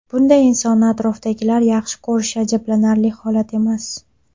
Bunday insonni atrofidagilar yaxshi ko‘rishi ajablanarli holat emas.